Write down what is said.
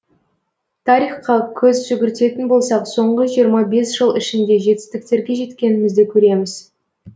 тарихқа көз жүгіртетін болсақ соңғы жиырма бес жыл ішінде жетістіктерге жеткенімізді көреміз